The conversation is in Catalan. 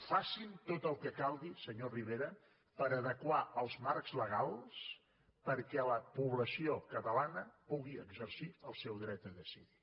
facin tot el que calgui senyor rivera per adequar els marcs legals perquè la població catalana pugui exercir el seu dret a decidir